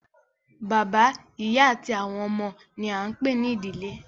Bàbá, ìyá àti àwọn ọmọ ni a ń pè ní ìdílé